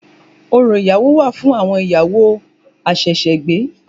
Orò ìyàwó wà fún àwon ìyàwó àsẹ̀sẹ̀gbé